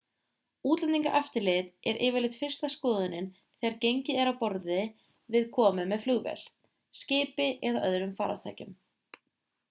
útlendingaeftirlit er yfirleitt fyrsta skoðunin þegar gengið er frá borði við komu með flugvél skipi eða öðrum farartækjum